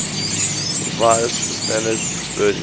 revised standard version